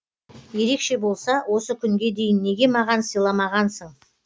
ерекше болса осы күнге дейін неге маған сыйламағансың